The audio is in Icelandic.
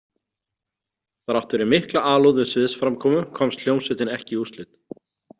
Þrátt fyrir mikla alúð við sviðsframkomu komst hljómsveitin ekki í úrslit.